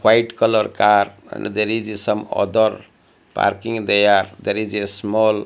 white colour car and there is a some other parking there there is a small --